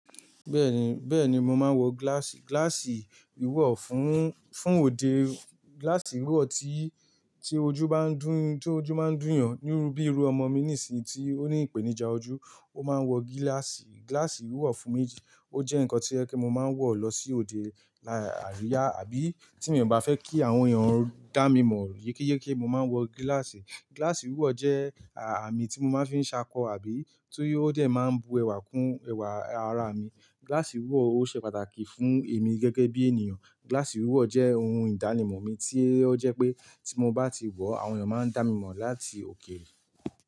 Bẹ́ẹ̀ni, bẹ́ẹ̀ni mo máa ń wọ gíláàsì. Gíláàsì wíwọ̀ fún, fún òde. Gíláàsì wíwọ̀ tí, tí ojú bá ń dú, tí ojú máa ń dùn yàn nírú bíi irú ọmọ mi nísìnyí tí ó ní ìpèníjà ojú, ó máa ń wọ gíláàsì. Gíláàsì wíwọ̀ fún mi jẹ́ ohun kan tí ẹ kí mo máa ń wọ̀ lọ sí òde lá, ariya àbí tí mi o bá fẹ́ kí àwọn èèyàn dá mi mọ̀ yekeyeke mo máa ń wọ gíláàsì. Gíláàsì wíwọ̀ jẹ́ àmì tí mo máa ń fi ṣákọ àbí ti o dẹ̀ máa n bu ẹwà kún ẹwà ara mi. Gíláàsì wíwọ̀ ó ṣe pàtàkì fún èmi gẹ́gẹ́ bí ènìyàn. Gíláàsì wíwọ̀ jẹ́ ohun ìdánimọ̀ mi tí ó jẹ́ pé tí mo bá ti wọ̀, àwọn èèyàn máa ń dá mi mọ̀ láti òkèèrè.